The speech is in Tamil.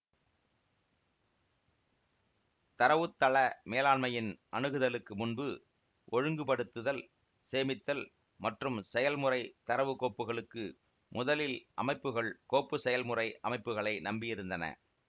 தரவுத்தள மேலாண்மையின் அணுகுதலுக்கு முன்பு ஒழுங்கு படுத்துதல் சேமித்தல் மற்றும் செயல்முறை தரவு கோப்புகளுக்கு முதலில் அமைப்புகள் கோப்பு செயல்முறை அமைப்புகளை நம்பி இருந்தன